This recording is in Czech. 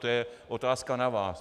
To je otázka na vás.